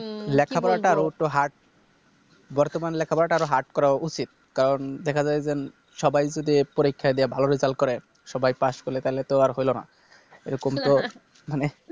লেখাপড়াটা Hard বর্তমান লেখাপড়াটা আরো Hard করা উচিত কারণ দেখা যায় যে সবাই যদি পরীক্ষা দিয়া ভালো Result করে সবাই পাশ করলে তাহলে তো আর হলো না এরকম তো মানে